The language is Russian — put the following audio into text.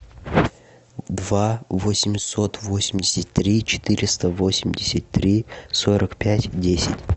два восемьсот восемьдесят три четыреста восемьдесят три сорок пять десять